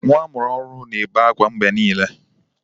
Nwa amụrụ ọhụrụ na-ebe akwa mgbe niile.